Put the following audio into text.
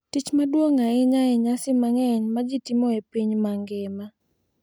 tich maduong’ ahinya e nyasi mang’eny ma ji timo e piny mangima.